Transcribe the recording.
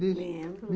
Lembro.